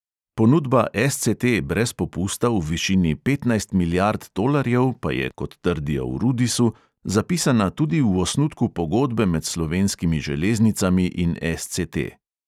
Ponudba SCT brez popusta v višini petnajstih milijard tolarjev pa je, kot trdijo v rudisu, zapisana tudi v osnutku pogodbe med slovenskimi železnicami in SCT.